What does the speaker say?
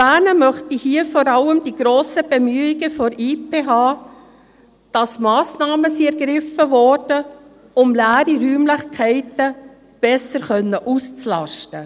Erwähnen möchte ich hier vor allem die grossen Bemühungen der IPH, dass Massnahmen ergriffen wurden, um leere Räumlichkeiten besser auszulasten.